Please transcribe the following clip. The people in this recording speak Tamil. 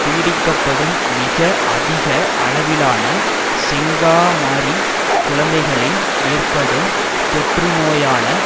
பீடிக்கப்படும் மிக அதிக அளவிலான செங்காமாரி குழந்தைகளின் ஏற்படும் தொற்றுநோயான